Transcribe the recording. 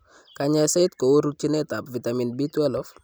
Kanyaiset kou rutchinet ab vitamin B12